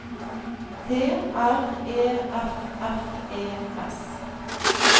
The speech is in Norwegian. T R E F F E S